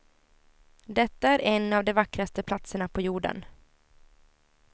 Detta är en av de vackraste platserna på jorden.